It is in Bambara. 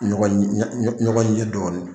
Ɲɔgɔn kɛ ɲɛ ɲɛ ɲɔgɔn ye dɔɔnin